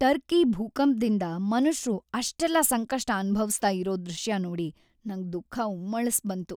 Turkey ಭೂಕಂಪ್ದಿಂದ ಮನುಷ್ರು ಅಷ್ಟೆಲ್ಲ ಸಂಕಷ್ಟ ಅನುಭವ್ಸ್ತಾ ಇರೋ ದೃಶ್ಯ ನೋಡಿ ನಂಗ್ ದುಃಖ ಉಮ್ಮಳ್ಸ್‌ಬಂತು.